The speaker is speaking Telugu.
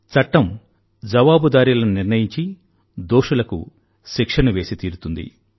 చట్టం జవాబుదారీలను నిర్ణయించి దోషులకు శిక్షను వేసి తీరుతుంది